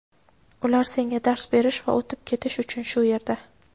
ular senga dars berish va o‘tib ketish uchun shu yerda.